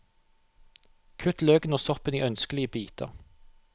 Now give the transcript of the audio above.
Kutt løken og soppen i ønskelige biter.